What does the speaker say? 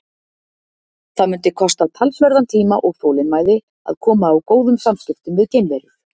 Það mundi kosta talsverðan tíma og þolinmæði að koma á góðum samskiptum við geimverur.